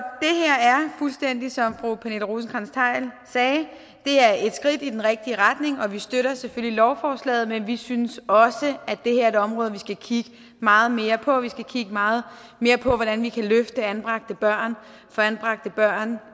fuldstændig som fru pernille rosenkrantz theil sagde et skridt i den rigtige retning og vi støtter selvfølgelig lovforslaget men vi synes også at det her er et område vi skal kigge meget mere på vi skal kigge meget mere på hvordan vi kan løfte anbragte børn få anbragte børn